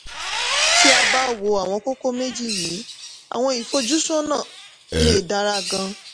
tí a bá wo àwọn kókó méjì yìí àwọn ìfojúsọ́nà lè dára gan-an.